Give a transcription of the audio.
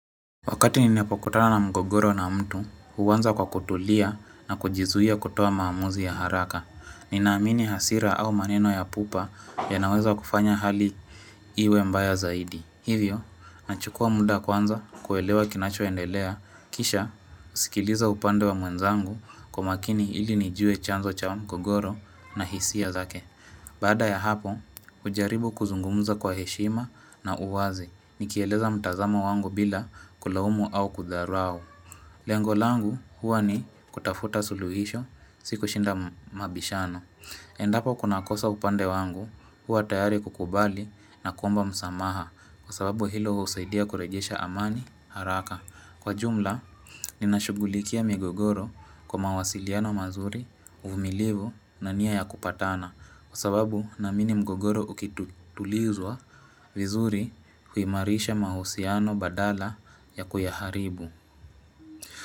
Wakati ninapokutana na mgogoro na mtu, huanza kwa kutulia na kujizuia kutoa maamuzi ya haraka. Ninaamini hasira au maneno ya pupa yanaweza kufanya hali iwe mbaya zaidi. Hivyo, nachukua muda kwanza kuelewa kinacho endelea. Kisha, husikiliza upande wa mwenzangu kwa makini ili nijue chanzo cha mgogoro na hisia zake. Baada ya hapo, hujaribu kuzungumza kwa heshima na uwazi. Nikieleza mtazamo wangu bila kulaumu au kudharau Lengo langu huwa ni kutafuta suluhisho si kushinda mabishano Endapo kuna kosa upande wangu huwa tayari kukubali na kuomba msamaha Kwa sababu hilo husaidia kurejesha amani haraka Kwa ujumla ninashughulikia migogoro kwa mawasiliano mazuri uvumilivu na nia ya kupatana Kwa sababu naamini mgogoro ukitulizwa vizuri huimarisha mahusiano badala ya kuyaharibu.